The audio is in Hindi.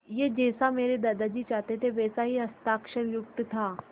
यह जैसा मेरे दादाजी चाहते थे वैसा ही हस्ताक्षरयुक्त था